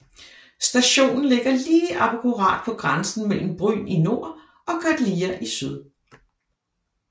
Stationen ligger lige akkurat på grænsen mellem Bryn i nord og Godlia i syd